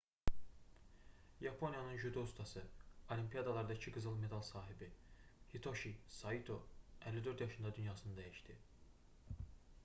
yaponiyanın judo ustası olimiyadalarda iki qızıl medal qalibi hitoşi saito 54 yaşında dünyasını dəyişdi